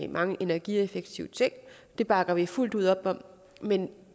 mange energieffektive ting det bakker vi fuldt ud op om men